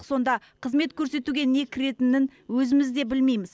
сонда қызмет көрсетуге не кіретінін өзіміз де білмейміз